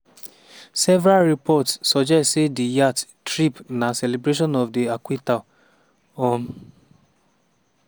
several reports suggest say di yacht trip na celebration of di acquittal. um